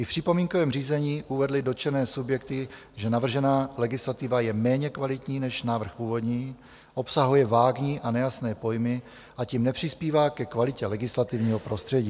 I v připomínkovém řízení uvedly dotčené subjekty, že navržená legislativa je méně kvalitní než návrh původní, obsahuje vágní a nejasné pojmy a tím nepřispívá ke kvalitě legislativního prostředí.